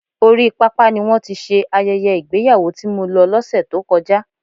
Orí pápá ni wọ́n ti ṣe ayẹyẹ ìgbéyàwó tí mo lọ lọse tó kọjá.